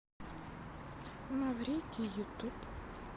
маврикий ютуб